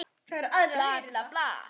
Svo sem engan veginn